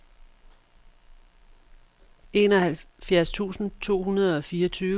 enoghalvfjerds tusind to hundrede og fireogtyve